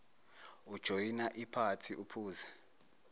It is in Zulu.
ujoyina iphathi uphuze